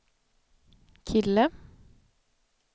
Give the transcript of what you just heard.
kille